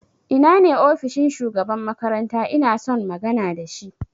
Ina ne ofishin shugaban makaranta inason magana da shi?